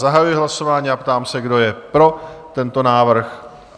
Zahajuji hlasování a ptám se, kdo je pro tento návrh?